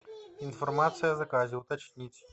информация о заказе уточнить